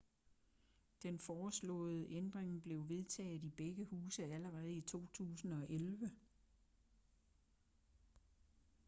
den foreslåede ændring blev vedtaget i begge huse allerede i 2011